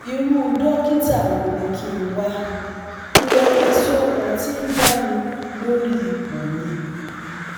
Irú dókítà wo ni kí n wá? Ìrẹ̀wẹ̀sì ọkàn ti ń bà mí lórí ipò mi